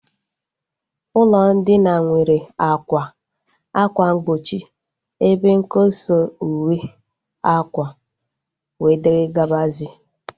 Ụlọ ndina nwere àkwà, ákwà mgbochi, ebe nkosa uwe akwa, and others